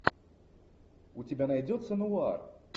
у тебя найдется нуар